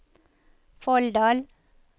Folldal